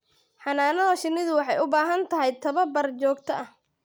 Xannaanada shinnidu waxay u baahan tahay tababar joogto ah.